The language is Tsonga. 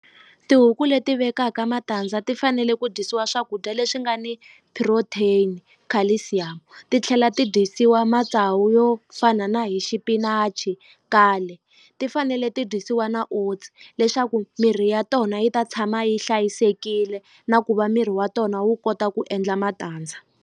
Tihuku leti vekaka matandza ti fanele ku dyisiwa swakudya leswi nga ni protein, calcium ti tlhela ti dyisiwa matsawu yo fana na hi xipinachi kale ti fanele ti dyisiwa na oats leswaku mirhi ya tona yi ta tshama yi hlayisekile na ku va miri wa tona wu kota ku endla matandza.